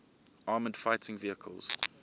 armoured fighting vehicles